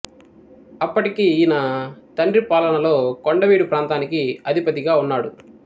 అప్పటికి ఈయన తండ్రి పాలనలో కొండవీడు ప్రాంతానికి అధిపతిగా ఉన్నాడు